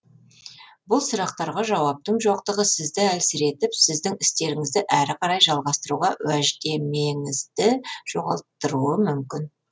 бұл сұрақтарға жауаптың жоқтығы сізді әлсіретіп сіздің істеріңізді әрі қарай жалғастыруға уәждемеңізді жоғалттыруы мүмкін